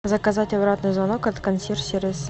заказать обратный звонок от консьерж сервиса